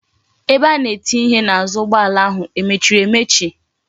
Ebe a na etinye ihe n'azu ugboala ahu emechiri emechi?